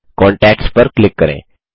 contacts पर click करें